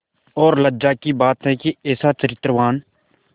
और लज्जा की बात है कि ऐसा चरित्रवान